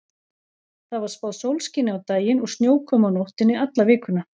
Það var spáð sólskini á daginn og snjókomu á nóttunni alla vikuna.